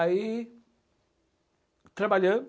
Aí, trabalhando,